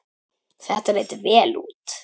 Þetta leit vel út.